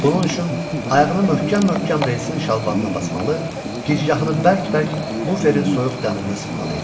Bunun üçün ayağını möhkəm-möhkəm reysin şalbanına basmalı, gicgahını bərk-bərk buferin soyuq dəmirinə sıxmalı idi.